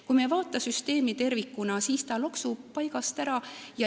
Kui me ei vaata süsteemi tervikuna, siis ta loksub paigast ära.